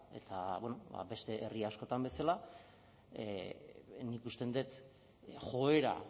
eta beste herri askotan bezala nik uste dut joera